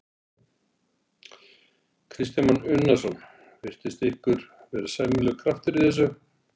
Kristján Már Unnarsson: Virtist ykkur vera sæmilegur kraftur í þessu?